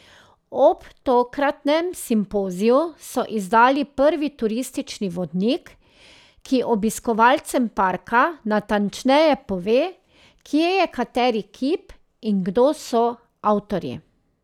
Ob tokratnem simpoziju so izdali prvi turistični vodnik, ki obiskovalcem parka natančneje pove, kje je kateri kip in kdo so avtorji.